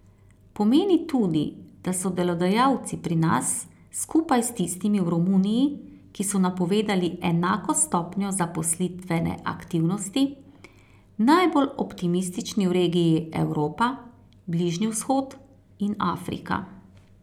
Pomeni tudi, da so delodajalci pri nas, skupaj s tistimi v Romuniji, ki so napovedali enako stopnjo zaposlitvene aktivnosti, najbolj optimistični v regiji Evropa, Bližnji vzhod in Afrika.